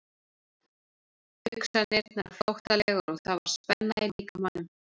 Hugsanirnar flóttalegar og það var spenna í líkamanum.